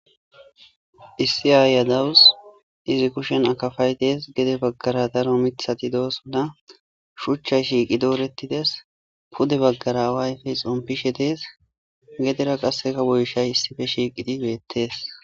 issi aaya dawus izi kushen akafay dees gede baggara daro mithati doosuna shuchchay shiiqi doorettides pude baggara waayfey xompishe dees gedera qasseka boyshay issife shiiqidi beettees